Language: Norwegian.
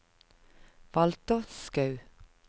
Walter Skaug